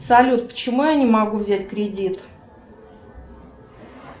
салют почему я не могу взять кредит